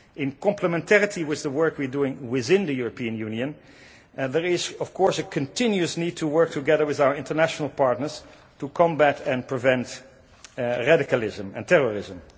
In complementarity with the work we are doing within the European Union, there is of course a continuous need to work together with our international partners to combat and prevent radicalism and terrorism.